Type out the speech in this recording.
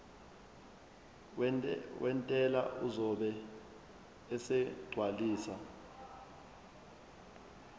wentela uzobe esegcwalisa